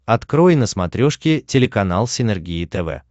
открой на смотрешке телеканал синергия тв